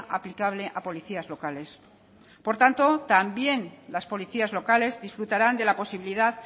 aplicable a policías locales por tanto también las policías locales disfrutarán de la posibilidad